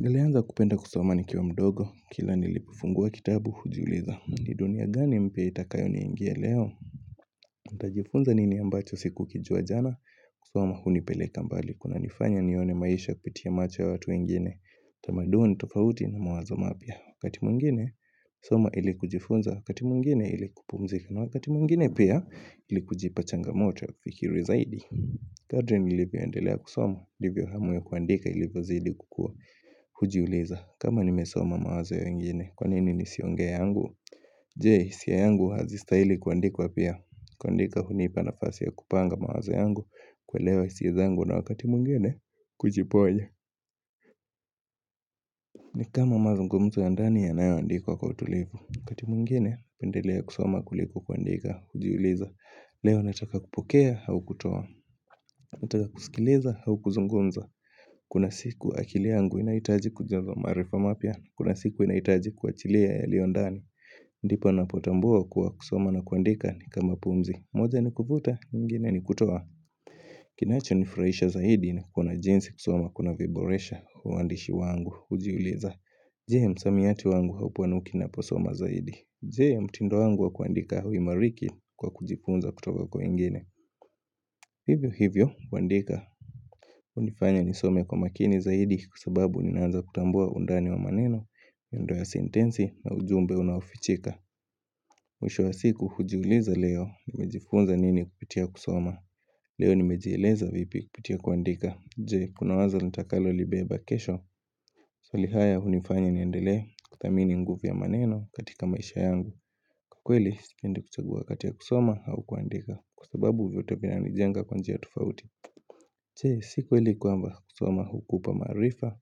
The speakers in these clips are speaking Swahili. Nilianza kupenda kusoma nikiwa mdogo, kila nilipofungua kitabu, hujiuliza ni dunia gani mpya itakayo ni ingia leo? Nitajifunza nini ambacho siku kijua jana, kusoma hunipeleka mbali kunanifanya nione maisha kupitia macho ya watu wengine, tamaduni ni tofauti na mawazo mapya Wakati mwingine, kusoma ili kujifunza, wakati mwingine ili kupumzika na wakati mwingine pia ili kujipa changamoto ya kufikiri zaidi kadri nilivyoendelea kusoma, ndivyo hamu ya kuandika ilivyozidi kukua Hujiuliza, kama nimesoma mawazo ya wengine, kwanini nisiongee yangu Je, hisia yangu hazi stahili kuandikwa pia kuandika hunipa nafasi ya kupanga mawazo yangu kuelewa hisia zangu na wakati mwingine, kujiponya ni kama mazungumzo ya ndani yanayoandikwa kwa utulivu wakati mwingine, naendelea kusoma kuliko kuandika Hujiuliza, leo nataka kupokea au kutoa nataka kusikiliza au kuzungumza Kuna siku akili yangu inahitaji kujazwa maarifa mapya Kuna siku inahitaji kuachilia yalio ndani ndipo napotambua kuwa kusoma na kuandika ni kama pumzi moja ni kuvuta, ingine ni kutoa Kinachonifurahisha zaidi ni kuona jinsi kusoma kuna viboresha uandishi wangu hujiuliza Je msamiati wangu haupanuki naposoma zaidi Je mtindo wangu wa kuandika huimariki kwa kujifunza kutoka kwa wengine Hivyo hivyo, kuandika hunifanya nisome kwa makini zaidi kwa sababu ninaanza kutambua undani wa maneno miundo ya sentensi na ujumbe unaofichika Mwisho wa siku hujiuliza leo nimejifunza nini kupitia kusoma Leo nimejieleza vipi kupitia kuandika Je, kuna wazo nitakalolibeba kesho Swali haya hunifanya niendelee kuthamini nguvu ya maneno katika maisha yangu kweli, sipendi kuchagua wakati ya kusoma au kuandika kwa sababu vyote vinanijenga kwa njia tofauti Je, si kweli kwamba kusoma hukupa maarifa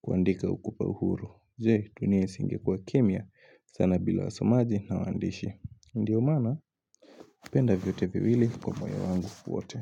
kuandika hukupa uhuru Je, dunia yasingekuwa kimya sana bila wasomaji na waandishi Ndiyo maana, penda vyote viwili kwa moyo wangu wote.